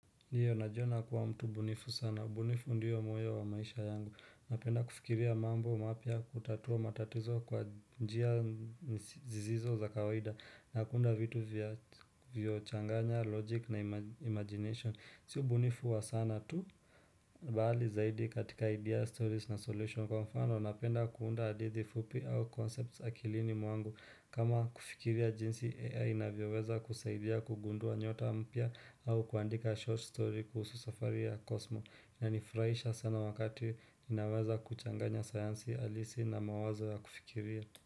Iyo najiona kuwa mtu bunifu sana. Bunifu ndiyo moyo wa maisha yangu. Napenda kufikiria mambo mapya kutatua matatizo kwa njia zisizo za kawaida. Nakuunda vitu vyo kuchanganya, logic na imagination. Siyo bunifu wa sana tu. Baali zaidi katika idea, stories na solution kwa mfano napenda kuunda adithi fupi au concepts akilini mwangu kama kufikiria jinsi AI inavyoweza kusaidia kugundua nyota mpya au kuandika short story kuhusu safari ya kosmo na nifuraisha sana wakati ninawaza kuchanganya sayansi alisi na mawazo ya kufikiria.